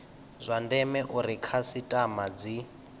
zwa ndeme uri khasitama dzi